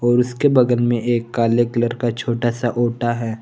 और उसके बगल में एक काले कलर का छोटा सा ओटा है।